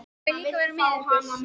Má ég líka vera með ykkur?